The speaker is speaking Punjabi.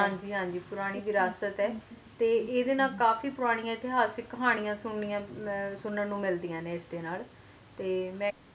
ਹਨ ਜੀ ਹਨ ਜੀ ਪੂਰਾਨੀ ਵਿਰਾਸਤ ਹੈ ਤੇ ਇਹਦੇ ਨਾਲ ਕਾਫੀ ਪੂਰਾਨੀ ਹਿਤਿਹਾਸਿਕ ਕਹਾਣੀਆਂ ਸੁੰਨੀਆਂ ਸੁੰਨੰ ਨੂੰ ਮਿਲਦੀਆਂ ਨੇ ਅੱਡੇ ਨਾਲ